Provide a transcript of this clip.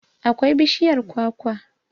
akwai bishiyar kwakwa